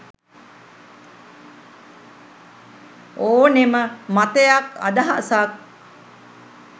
ඕනෙම මතයක් අදහසක්